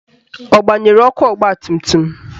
Ọ gbanyere ọkụ ọgbatumtum?